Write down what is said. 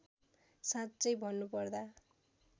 साँच्चै भन्नुपर्दा